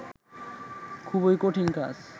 খুবই কঠিন কাজ